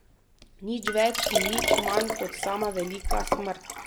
Nič več in nič manj kot sama Velika Smrt.